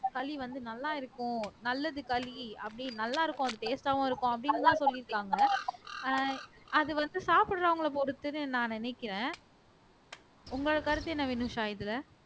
களி வந்து நல்லா இருக்கும் நல்லது களி அப்படி நல்லா இருக்கும் அது taste ஆவும் இருக்கும் அப்படின்னு எல்லாம் சொல்லியிருக்காங்க ஆஹ் அது வந்து சாப்பிடறவங்களைப் பொறுத்துன்னு நான் நினைக்கிறேன் உங்களோட கருத்து என்ன வினுஷா இதுல